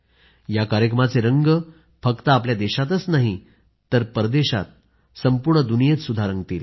या कार्यक्रमाचे रंग फक्त आपल्या देशातच नाही तर विदेशात संपूर्ण दुनियेत रंगतील